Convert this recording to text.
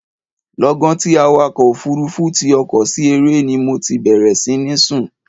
Lọ́gán tí awakọ̀ òfurufu ti ọkọ̀ sí eré ni mo ti bẹ̀rẹ̀ sí ní sùn.